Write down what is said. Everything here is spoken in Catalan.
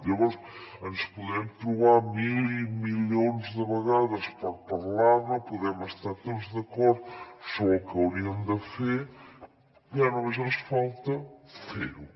llavors ens podrem trobar mil i milions de vegades per parlar ne podem estar tots d’acord sobre el que hauríem de fer ja només ens falta fer ho